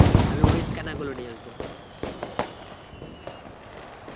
আমি ওই scanner গুলো নিয়ে আসবো.